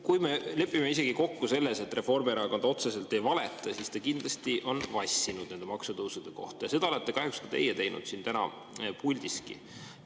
Kui me isegi lepime kokku selles, et Reformierakond otseselt ei valeta, siis ta kindlasti on vassinud nende maksutõusude kohta, ja seda olete kahjuks teinud ka teie täna siin puldis.